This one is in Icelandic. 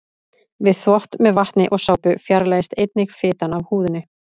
Við þvott með vatni og sápu fjarlægist einnig fitan af húðinni.